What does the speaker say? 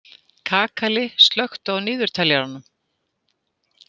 Kakali, slökktu á niðurteljaranum.